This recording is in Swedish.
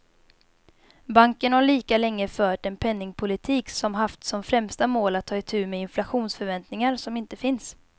Banken har lika länge fört en penningpolitik som haft som främsta mål att ta itu med inflationsförväntningar som inte finns.